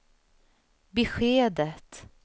beskedet